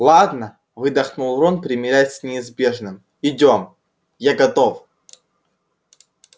ладно выдохнул рон примирясь с неизбежным идём я готов